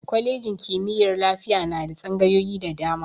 Kwalejin kimiyyar lafiya na da tsangayoyi da dama.